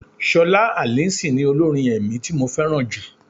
Ṣọlá Alison ni olórin ẹ̀mí tí mo fẹ́ràn jù.